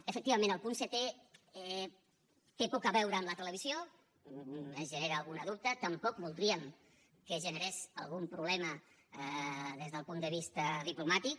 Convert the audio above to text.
efectivament el punt setè té poc a veure amb la televisió es genera algun dubte tampoc voldríem que es generés algun problema des del punt de vista diplomàtic